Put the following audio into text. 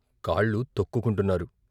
కాళ్ళు తొక్కుకుంటున్నారు.